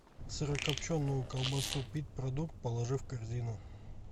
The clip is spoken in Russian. сырокопченую колбасу пит продукт положи в корзину